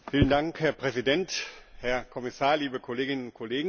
Herr Präsident, Herr Kommissar, liebe Kolleginnen und Kollegen!